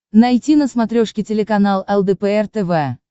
найти на смотрешке телеканал лдпр тв